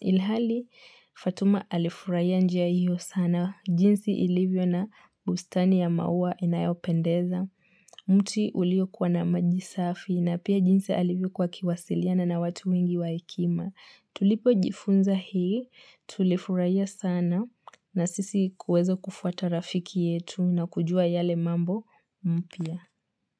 Ilhali, Fatuma alifurahia njia hiyo sana. Jinsi ilivyo na bustani ya maua inayopendeza. Mti uliokuwa na maji safi na pia jinsi alivyokua akiwasiliana na watu mingi wahekima Tulipojifunza hii, tulifurihia sana na sisi kuweza kufuata rafiki yetu na kujua yale mambo mpya.